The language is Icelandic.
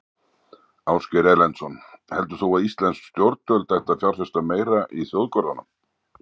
Ásgeir Erlendsson: Heldur þú að íslensk stjórnvöld ættu að fjárfesta meira í þjóðgörðunum?